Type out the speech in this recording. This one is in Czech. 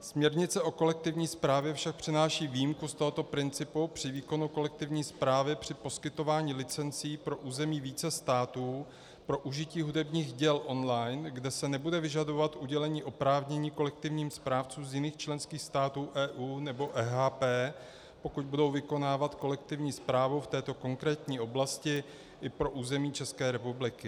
Směrnice o kolektivní správě však přináší výjimku z tohoto principu při výkonu kolektivní správy při poskytování licencí pro území více států pro užití hudebních děl online, kde se nebude vyžadovat udělení oprávnění kolektivním správcům z jiných členských států EU nebo EHP, pokud budou vykonávat kolektivní správu v této konkrétní oblasti i pro území České republiky.